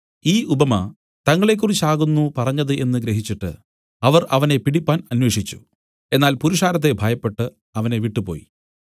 ഈ ഉപമ തങ്ങളെക്കുറിച്ച് ആകുന്നു പറഞ്ഞത് എന്നു ഗ്രഹിച്ചിട്ട് അവർ അവനെ പിടിപ്പാൻ അന്വേഷിച്ചു എന്നാൽ പുരുഷാരത്തെ ഭയപ്പെട്ടു അവനെ വിട്ടുപോയി